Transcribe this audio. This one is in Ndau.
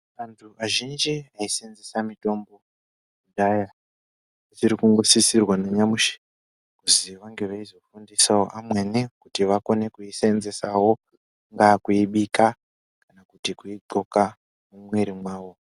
Vantu vazhinji vaiseenzesa mitombo kudhaya zvirikungosisirwa nanyamushi kuzi vange veizofundisawo amweni kuti vakone kuiseenzesawo vakuibika kana kuti kundxoka mumwiri mwawo.